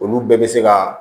Olu bɛɛ bɛ se ka